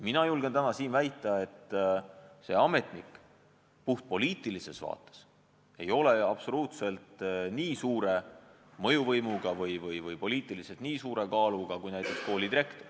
Mina julgen täna siin väita, et see ametnik puhtpoliitilises vaates ei ole absoluutselt nii suure mõjuvõimuga või poliitiliselt nii suure kaaluga kui näiteks koolidirektor.